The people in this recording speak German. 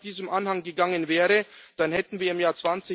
Wenn es nach diesem Anhang gegangen wäre, dann hätten wir im Jahr